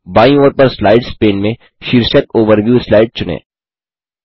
बायीं ओर पर स्लाइड्स पेन में शीर्षक ओवरव्यू स्लाइड चुनें